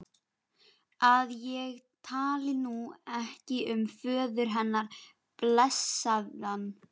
að ég tali nú ekki um föður hennar, blessaðan.